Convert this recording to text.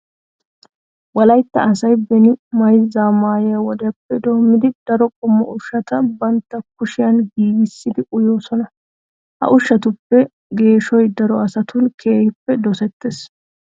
Wolaytta asay beni mayzza ma"e wodiyappe doommidi daro qommo ushshata bantta kushiyan giigissidi uyoosona. Ha ushshatuppe geeshoy daro asatun keehippe dosettees.